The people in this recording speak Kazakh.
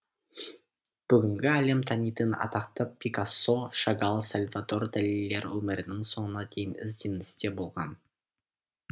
бүгінгі әлем танитын атақты пикассо шагал сальвадор далилер өмірінің соңына дейін ізденісте болған